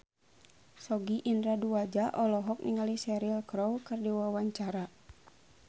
Sogi Indra Duaja olohok ningali Cheryl Crow keur diwawancara